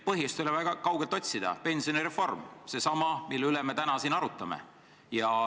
Põhjust ei ole vaja väga kaugelt otsida: pensionireform – seesama, mille üle me täna siin arutame.